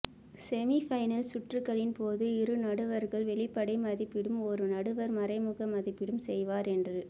semi-final சுற்றுகளின் போது இரு நடுவர்கள் வெளிப்படை மதிப்பீடும் ஒரு நடுவர் மறைமுக மதிப்பீடும் செய்வர் என்று